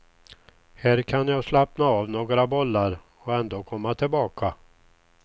Här kan jag slappna av några bollar och ändå komma tillbaka.